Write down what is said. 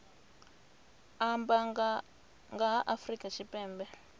amba nga ha afrika tshipembe